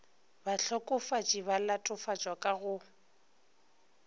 bahlokofatši ba latofatšwa ka go